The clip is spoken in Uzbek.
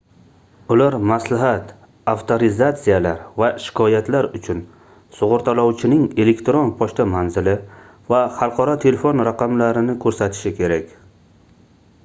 ular maslahat/avtorizatsiyalar va shikoyatlar uchun sug'urtalovchining elektron pochta manzili va xalqaro telefon raqamlarini ko'rsatishi kerak